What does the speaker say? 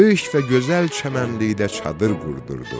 Böyük və gözəl çəmənlikdə çadır qurdurdu.